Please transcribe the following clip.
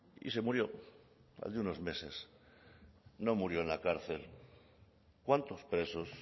y se murió al de unos meses no murió en la cárcel cuántos presos